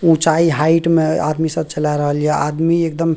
ऊंचाई हाइट में आदमी सब चला रहलिए आदमी एकदम --